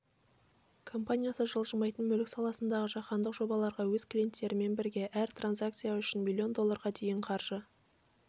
компаниясы жылжымайтын мүлік саласындағы жаһандық жобаларға өз клиенттерімен бірге әр транзакция үшін млн долларға дейін қаржы